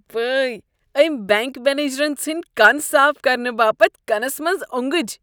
وٲے ! امۍ بینٛک منیجرن ژھٕنۍ كن صاف كرنہٕ باپت کنس منز اونگٕج ۔